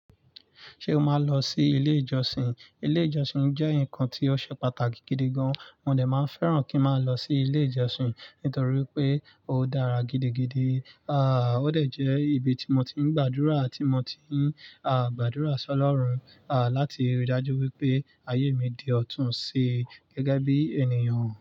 Ṣé o máa ń lọ sí ilé ìjọsìn? Ilé ìjọsìn jẹ́ nǹkan tí ó ṣe pàtàkì gidi gan. Mo dà máa fẹ́ràn kí n máa lọ sí ilé ìjọsìn nítorí pé ó dára gidigidi. À, ó de jbẹ́ ibi tí mo ti ń gbàdúrà àti mo ti ń, à, gbàdúrà sọ lọ́run, à, láti rí i dájú wípé ayé mi di ọ̀túnṣe gẹ́gẹ́ bí ènìyàn.